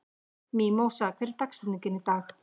Mímósa, hver er dagsetningin í dag?